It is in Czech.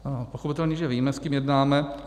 Pochopitelně že víme, s kým jednáme.